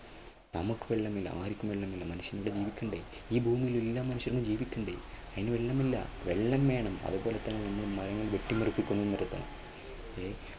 നമുക്ക് വെള്ളമില്ല ആർക്കും വെള്ളമില്ല മനുഷ്യനിവിടെ ജീവിക്കണ്ടേ? ഈ ഭൂമിയിൽ എല്ലാ മനുഷ്യർക്കും ജീവിക്കേണ്ടേ? അതിനു വെള്ളമില്ല വെള്ളം വേണം. അതുപോലെതന്നെ നമ്മൾ മുഖം കെട്ടി മറിച്ചിട്ട് നടക്കുന്നേ.